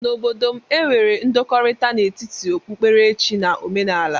N'obodo m, e nwere ndọkọrita n'etiti okpukpere chi na ọmenaala.